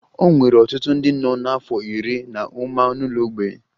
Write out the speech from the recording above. E nwere ọtụtụ ndị nọ n'afọ iri na ụma n'ụlọ mgbei